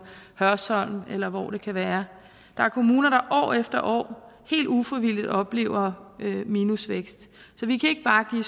hørsholm eller hvor det kan være der er kommuner der år efter år helt ufrivilligt oplever minusvækst så vi kan ikke bare give